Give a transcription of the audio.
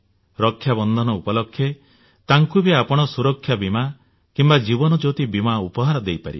ରକ୍ଷାବନ୍ଧନ ଉପଲକ୍ଷେ ତାଙ୍କୁ ବି ଆପଣ ସୁରକ୍ଷା ବୀମା କିମ୍ବା ଜୀବନ ଜ୍ୟୋତି ବୀମା ଉପହାର ଦେଇ ପାରିବେ